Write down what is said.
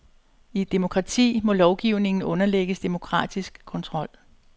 I et demokrati må lovgivningen underlægges demokratisk kontrol.